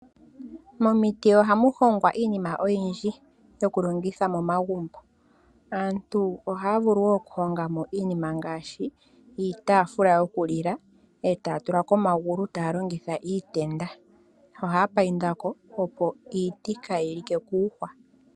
Momiti ohamu hongwa iinima oyindji yoku longitha momagumbo. Aantu ohaa vulu wo okuhonga mo iinima ngaashi iitaafula yokulila e taa tula ko omagulu taa longitha iitenda nohaya painda ko opo iiti kaayi like kuuhwa.